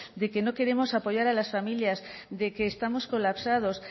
de que no queremos apoyar a las familias de que estamos colapsados